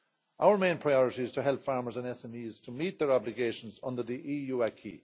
Our main priority is to help farmers and SMEs to meet their obligations under the EU acquis.